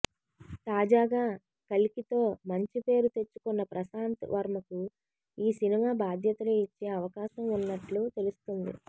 తాజాగా కల్కితో మంచి పేరు తెచ్చుకున్న ప్రశాంత్ వర్మకు ఈ సినిమా బాధ్యతలు ఇచ్చే అవకాశం ఉన్నట్లు తెలుస్తుంది